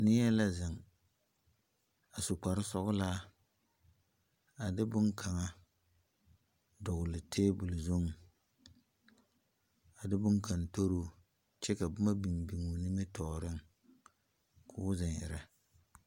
Neɛ la zeŋ a su kpar sɔglaa a de boŋ kanga dogle tabul zuŋ. A de boŋ kang toroo kyɛ ka boma biŋ biŋ o nimitooreŋ k'o zeŋ irrɛ